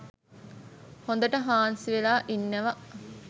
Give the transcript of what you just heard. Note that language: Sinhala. හොඳට හාන්සිවෙලා ඉන්නවා.